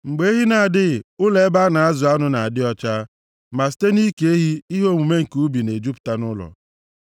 Mgbe ehi na-adịghị, ụlọ ebe a na-azụ anụ na-adị ọcha, ma site nʼike ehi ihe omume nke ubi na-ejupụta nʼụlọ.